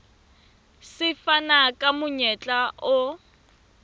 se fana ka monyetla o